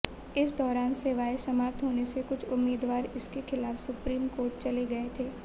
इस दौरान सेवाएं समाप्त होने से कुछ उम्मीदवार इसके खिलाफ सुप्रीम कोर्ट चले गए थे